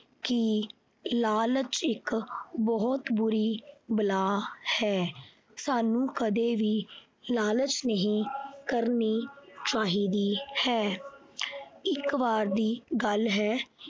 ਕਿ ਲਾਲਚ ਇਕ ਬਹੁਤ ਬੁਰੀ ਬਲਾ ਹੈ। ਸਾਨੂੰ ਕਦੇ ਵੀ ਲਾਲਚ ਨਹੀਂ ਕਰਨੀ ਚਾਹੀਦੀ ਹੈ। ਇੱਕ ਵਾਰ ਦੀ ਗੱਲ ਹੈ